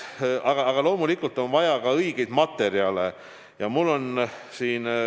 Aga loomulikult on vaja õigest materjalist maske.